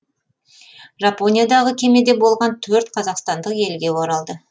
жапониядағы кемеде болған төрт қазақстандық елге оралды